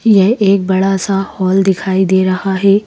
ये एक बड़ा सा हॉल दिखाई दे रहा हैं।